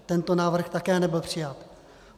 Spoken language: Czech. Tento návrh také nebyl přijat.